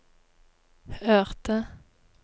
hørte